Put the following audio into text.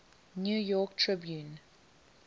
new york tribune